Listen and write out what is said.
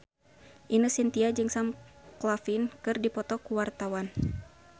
Ine Shintya jeung Sam Claflin keur dipoto ku wartawan